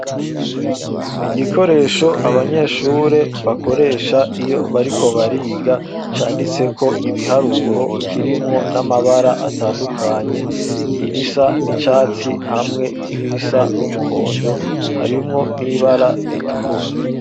Igikoresho Abanyeshure bakoresha, iyo bariko bariga canditseko Ibiharuro, kirimwo n'Amabara atandukanye, irisa n'icatsi, hamwe ni risa n'umuhondo, harimwo n'ibara ritukura.